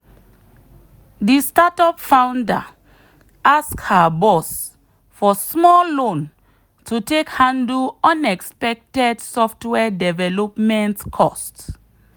the startup founder ask her boss for small loan to take handle unexpected software development cost.